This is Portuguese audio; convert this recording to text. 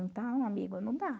Então, amigo, não dá.